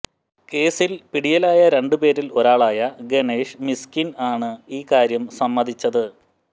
കേസിൽ പിടിയിലായ രണ്ട് പേരിൽ ഒരാളായ ഗണേഷ് മിസ്കിൻ ആണ് ഈ കാര്യം സമ്മതിച്ചത്